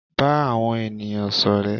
Ba àwọn ènìyàn sọrẹ.